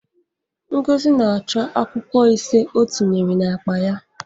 Ngozi na-achọ akwụkwọ ise ọ tinyere n'akpa ya.